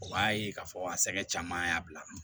O b'a ye k'a fɔ a sɛgɛn caman y'a bila